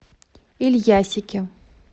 ильясике